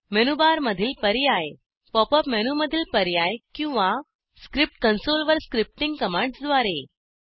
मेनूबारमधील पर्याय pop up मेनूमधील पर्याय किंवा स्क्रिप्ट कंसोल वर स्क्रिप्टींग कमांड्सद्वारे